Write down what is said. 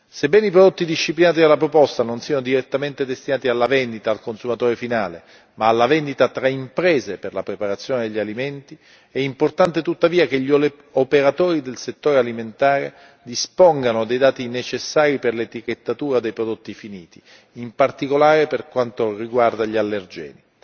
Sebbene i prodotti disciplinati dalla proposta non siano direttamente destinati alla vendita al consumatore finale, ma alla vendita tra imprese per la preparazione di alimenti, è importante, tuttavia, che gli operatori del settore alimentare dispongano dei dati necessari per l'etichettatura dei prodotti finiti, in particolare per quanto riguarda gli allergeni.